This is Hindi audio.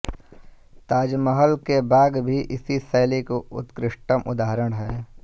ताजमहल के बाग भी इसी शैली के उत्कृष्टतम उदाहरण हैं